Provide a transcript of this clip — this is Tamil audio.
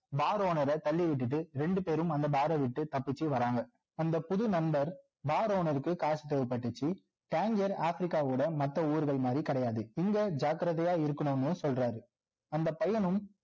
bar owner ர தள்ளி விட்டுட்டு ரெண்டு பேரும் அந்த bar ர விட்டு தப்பிச்சி வராங்க அந்த புது நண்பர் bar owner க்கு காசு தேவைப்பட்டுச்சு tangier africa ஓட மற்ற ஊருகள் மாதிரி கிடையாது இங்க ஜாக்கிரதையா இருக்கணும்னு சொல்றாரு அந்த பையனும்